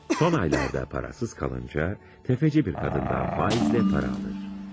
Son aylarda parasız qalınca, təfəççi qadından faizlə pul alır.